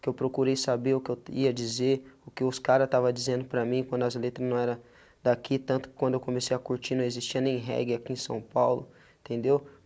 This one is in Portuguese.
que eu procurei saber o que eu ia dizer, o que os cara estava dizendo para mim quando as letras não eram daqui, tanto quando eu comecei a curtir não existia nem reggae aqui em São Paulo, entendeu?